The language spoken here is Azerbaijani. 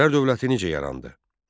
Atabəylər dövləti necə yarandı?